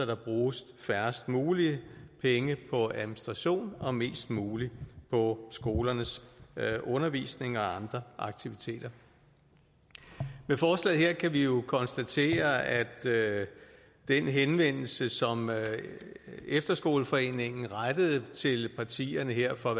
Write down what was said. der bruges færrest mulige penge på administration og mest muligt på skolernes undervisning og andre aktiviteter med forslaget her kan vi jo konstatere at den henvendelse som efterskoleforeningen rettede til partierne her for